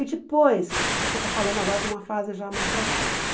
E depois, ãh você está falando agora de uma fase já mais para frente.